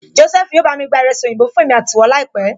Jósẹ́fù yóò bá mi gba ìrẹsì oyinbo fún èmi àti ìwọ láìpẹ́